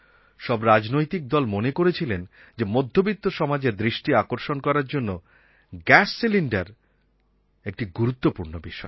সব রাজনৈতিক দল মনে করেছিলেন যে মধ্যবিত্ত সমাজের দৃষ্টি আকর্ষণ করার জন্য গ্যাস সিলিণ্ডার একটা গুরুত্বপূর্ণ বিষয়